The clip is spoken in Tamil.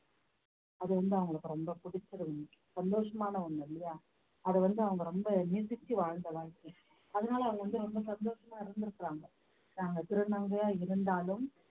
அது வந்து அவங்களுக்கு ரொம்ப பிடிச்சிரும் சந்தோஷமான ஒண்ணு இல்லையா அதை வந்து அவங்க ரொம்ப நேசிச்சு வாழ்ந்த வாழ்க்கை அதனால அவங்க வந்து ரொம்ப சந்தோஷமா இருந்திருக்காங்க நாங்க திருநங்கையா இருந்தாலும்